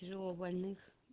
тяжело больных